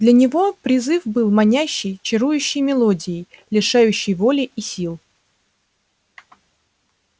для него призыв был манящей чарующей мелодией лишающей воли и сил